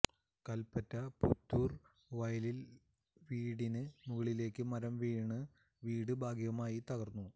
കല്പറ്റ പുത്തൂര് വയലില് വീടിന് മുകളിലേക്ക് മരം വീണ് വീട് ഭാഗികമായി തകര്ന്നു